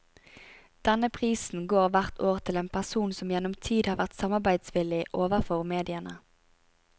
Denne prisen går hvert år til en person som gjennom tid har vært samarbeidsvillig overfor mediene.